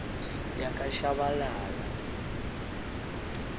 yakashabalala